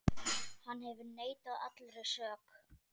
Hann hefur neitað allri sök.